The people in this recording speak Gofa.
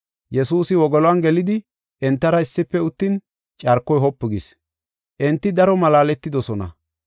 Yesuusi wogoluwan gelidi entara issife uttin carkoy wopu gis. Enti daro malaaletidosona.